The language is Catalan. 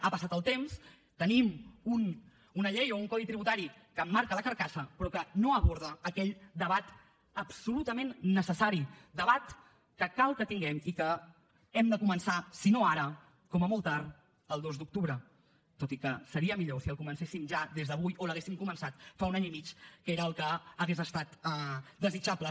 ha passat el temps tenim una llei o un codi tributari que emmarca la carcassa però que no aborda aquell debat absolutament necessari debat que cal que tinguem i que hem de començar si no ara com a molt tard el dos d’octubre tot i que seria millor si el comencéssim ja des d’avui o l’haguéssim començat fa un any i mig que era el que hauria estat desitjable